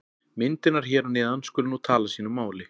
Myndirnar hér að neðan skulu nú tala sínu máli.